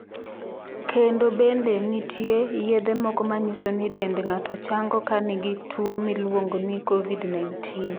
Kendo bende nitie yedhe moko manyiso ni dend ng'ato chango ka in gi tuo miluongo ni Covid-19.